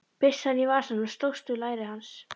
Byssan í vasanum slóst við læri hans.